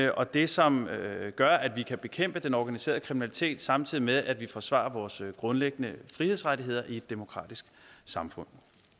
og det som gør at vi kan bekæmpe den organiserede kriminalitet samtidig med at vi forsvarer vores grundlæggende frihedsrettigheder i et demokratisk samfund